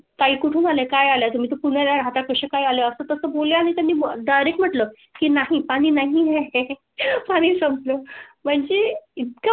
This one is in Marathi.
आई कुठे काय आला तुम्ही? पुणे राहता कशा काय आल्या असतं तसं बोलले आणि तुम्ही? डायरेक्ट म्हटलं की नाही पाणी नाही हे आणि संपलं म्हणजे इतका.